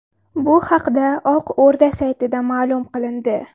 Bu haqda Oq o‘rda saytida ma’lum qilindi .